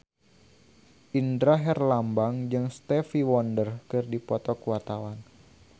Indra Herlambang jeung Stevie Wonder keur dipoto ku wartawan